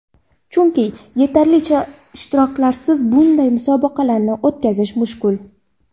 Chunki, yetarlicha ishtirokchilarsiz bunday musobaqalarni o‘tkazish mushkul.